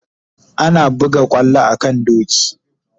Ana buga kwallo a kan doki